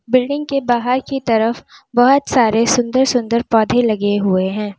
Building के बाहर की तरफ बहोत सारे सुंदर सुंदर पौधे लगे हुए हैं।